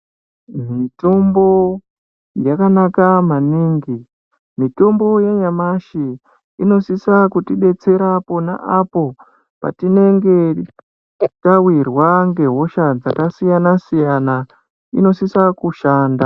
Mitombo yakanaka maningi, mitombo yanyamashi inosisa kutibetsera pona apo patinenge tawirwa ngehosha dzakasiyana siyana, inosisa kushanda.